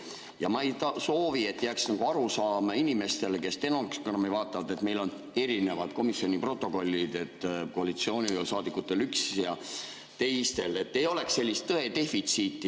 Ja ma ei soovi, et jääks arusaam inimestele, kes stenogrammi vaatavad, et meil on erinevad komisjoni protokollid, koalitsioonisaadikutel üks ja teistel, et ei oleks sellist tõe defitsiiti.